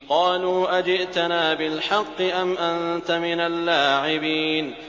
قَالُوا أَجِئْتَنَا بِالْحَقِّ أَمْ أَنتَ مِنَ اللَّاعِبِينَ